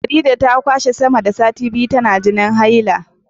Farida ta kwashe sama da sati biyu tana jinin haila